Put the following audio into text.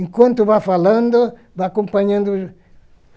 Enquanto vai falando, vai acompanhando.